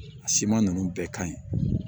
A siman ninnu bɛɛ ka ɲi